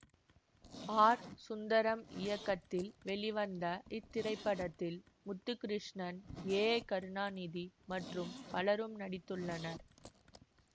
R Sundaram இயக்கத்தில் வெளிவந்த இத்திரைப்படத்தில் முத்துகிருஷ்ணன் ஏ கருணாநிதி மற்றும் பலரும் நடித்துள்ளனர்